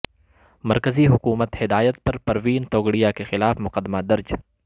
مرکزی حکومت ہدایت پر پروین توگڑیہ کے خلاف مقدمہ درج